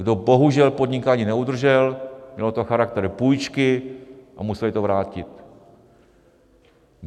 Kdo bohužel podnikání neudržel, mělo to charakter půjčky a museli to vrátit.